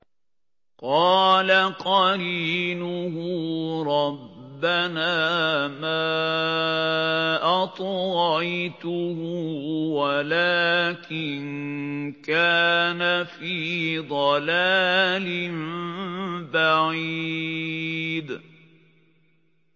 ۞ قَالَ قَرِينُهُ رَبَّنَا مَا أَطْغَيْتُهُ وَلَٰكِن كَانَ فِي ضَلَالٍ بَعِيدٍ